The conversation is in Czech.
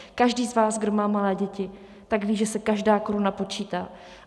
Každý z vás, kdo má malé děti, tak ví, že se každá koruna počítá.